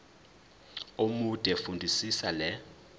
omude fundisisa le